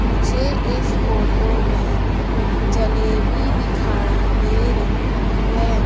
मुझे इस फोटो में जलेबी दिखाई दे रही हैं।